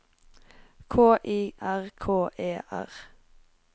K I R K E R